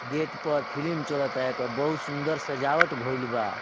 Gate पर film चल ता एकर बहुत सुन्दर सजावट भईल बा।